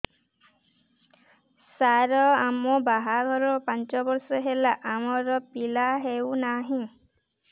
ସାର ଆମ ବାହା ଘର ପାଞ୍ଚ ବର୍ଷ ହେଲା ଆମର ପିଲା ହେଉନାହିଁ